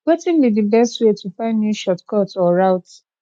wetin be di best way to find new shortcuts or routes